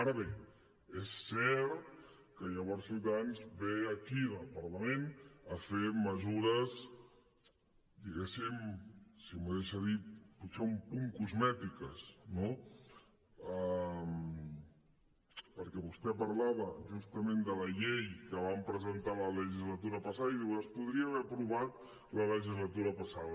ara bé és cert que llavors ciutadans ve aquí al parlament a fer mesures diguéssim si m’ho deixa dir potser un punt cosmètiques no perquè vostè parlava justament de la llei que van presentar la legislatura passada i diu es podria haver aprovat la legislatura passada